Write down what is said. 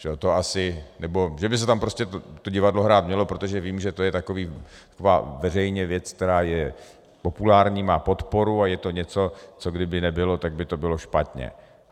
Že by se tam prostě to divadlo hrát mělo, protože vím, že to je taková veřejná věc, která je populární, má podporu a je to něco, co kdyby nebylo, tak by to bylo špatně.